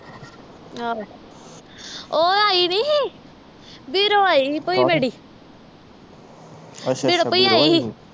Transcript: ਆਹੋ ਓਹ ਆਈ ਨਹੀਂ ਸੀ ਬੀਰੋ ਆਈ ਸੀ ਭੁਈ ਮੇਰੀ ਅੱਛਾ ਅੱਛਾ ਬੀਰੋ ਭੁਈ ਆਈ ਸੀ